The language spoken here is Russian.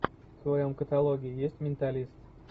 в твоем каталоге есть менталист